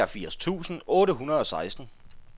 treogfirs tusind otte hundrede og seksten